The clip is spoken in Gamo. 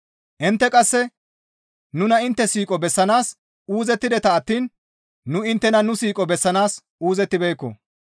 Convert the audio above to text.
Intte qasse nuna intte siiqo bessanaas uuzettideta attiin nu inttena nu siiqo bessanaas uuzettibeekko.